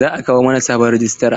Za a kawo mana sabon rajistra.